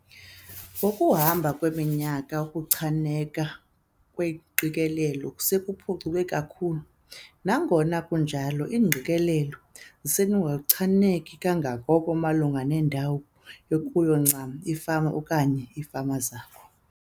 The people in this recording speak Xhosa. Ngokuhamba kweminyaka ukuchaneka kweengqikelelo sekuphucuke kakhulu. Nangona kunjalo, iingqikelelo zisenokungachaneki kangako malunga nendawo ekuyo ncam ifama okanye iifama zakho.